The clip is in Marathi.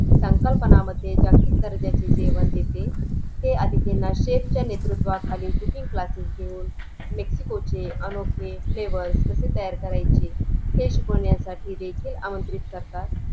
आणि बचत गटाच्या माध्यमातून अनेक विविध योजना आहेत ते आपल्याला माहिती नाहीत मग आपला गट जेव्हा register होतं BMC ला तेव्हा ते योजना आपल्याला माहित होतात .